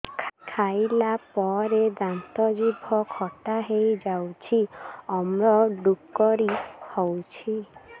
ଖାଇଲା ପରେ ଦାନ୍ତ ଜିଭ ଖଟା ହେଇଯାଉଛି ଅମ୍ଳ ଡ଼ୁକରି ହଉଛି